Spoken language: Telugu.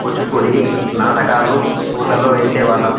కూచిపూడి నాటకాలు స్కూళ్లలో వేసే వాళ్ళం --